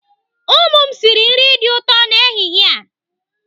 Ụmụ m sịrị nri dị ụtọ n'ehihie a.